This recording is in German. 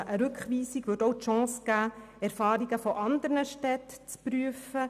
Eine Rückweisung würde auch die Chance bieten, Erfahrungen von anderen Städten zu prüfen.